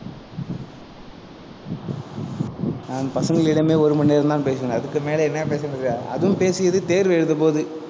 நான் பசங்களிடமே ஒரு மணி நேரம் தான் பேசுவேன். அதுக்கு மேல என்ன பேசுறது அதுவும் பேசியது தேர்வு எழுத போது.